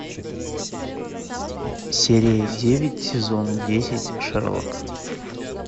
серия девять сезон десять шерлок